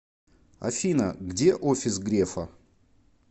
афина где офис грефа